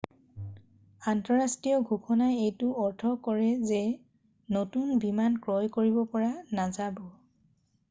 আন্তঃৰাষ্ট্ৰীয় ঘোষণাই এইটো অৰ্থ কৰে যে নতুন বিমান ক্ৰয় কৰিব পৰা নাযাব